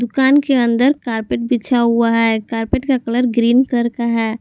दुकान के अन्दर कार्पेट बिछा हुआ है कार्पेट का कलर ग्रीन कलर का है।